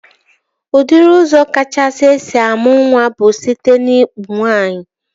Udiri ụzọ kachasị esi amụ nwa bụ site n'ikpu nwaanyị